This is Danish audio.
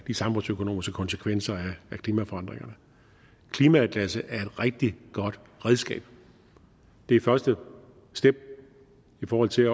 de samfundsøkonomiske konsekvenser af klimaforandringerne klimaatlasset er et rigtig godt redskab det er første step i forhold til